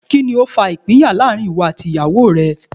Kíni ó fa ìpínyà láàrin ìwọ àti ìyàwó?